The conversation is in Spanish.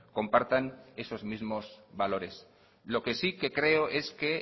compartan esos mismo valores lo que sí que creo es que